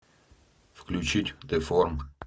включить деформ